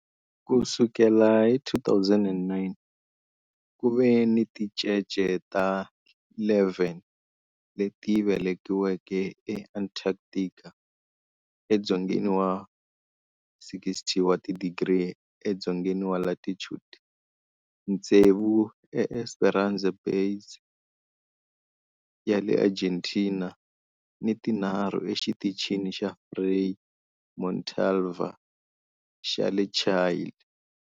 Ku sukela hi 2009, ku ve ni tincece ta 11 leti velekiweke eAntarctica, edzongeni wa 60 wa tidigri edzongeni wa latitude, tsevu eEsperanza Base ya le Argentina ni tinharhu eXitichini xa Frei Montalva xa le Chile.